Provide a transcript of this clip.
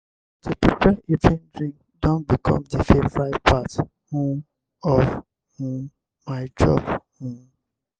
to prepare evening drink don become di favorite part um of um my job. um